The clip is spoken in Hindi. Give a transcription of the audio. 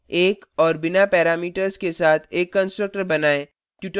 1 और बिना parameters के साथ एक constructor बनाएँ